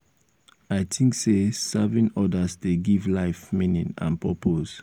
i think say serving others dey give life meaning and purpose.